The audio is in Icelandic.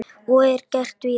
Og er gert víða.